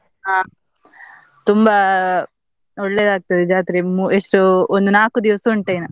ಅಹ್ ತುಂಬಾ ಒಳ್ಳೆದಾಗ್ತದೆ ಜಾತ್ರೆ ಎಷ್ಟು ಒಂದು ನಾಕು ದಿವಸ ಉಂಟು ಏನಾ.